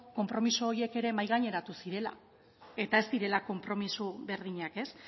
konpromiso horiek ere mahaigaineratu zirela eta ez direla konpromiso berdinak ez